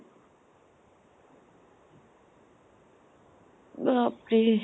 বাপৰে ।